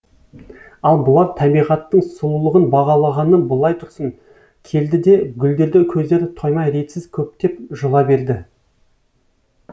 ал бұлар табиғаттың сұлулығын бағалағаны былай тұрсын келді де гүлдерді көздері тоймай ретсіз көптеп жұла берді